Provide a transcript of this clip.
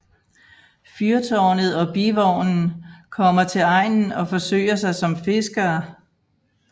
Fyrtårnet og Bivognen kommer til egnen og forsøger sig som fiskere